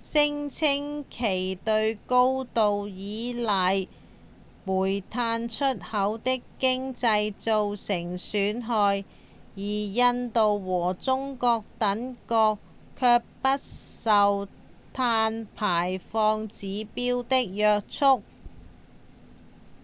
聲稱其會對高度依賴煤炭出口的經濟造成損害而印度和中國等國卻不受碳排放指標的約束